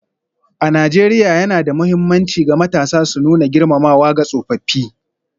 A Najeriya, yana da mahimmanci ga matasa su nuna girmamawa ga tsofaffi.